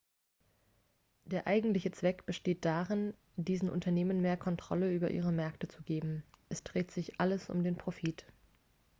der eigentliche zweck besteht darin diesen unternehmen mehr kontrolle über ihre märkte zu geben es dreht sich alles um den profit